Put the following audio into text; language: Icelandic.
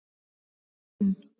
Kinn